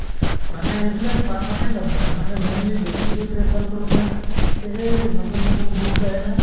মানে এইবিলাক permanent hobby নহয় মানে mainly বেছিকে prefer কৰো মই এই যে নতুন নতুন books আহে না